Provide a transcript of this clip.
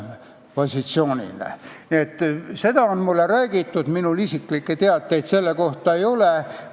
Nii on seda mulle räägitud, minul isiklikke teadmisi selle kohta ei ole.